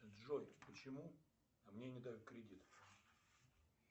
джой почему мне не дают кредит